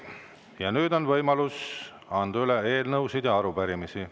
Ja nüüd on võimalus anda üle eelnõusid ja arupärimisi.